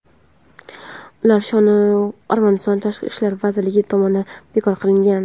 ular shu kuni Armaniston tashqi ishlar vazirligi tomonidan bekor qilingan.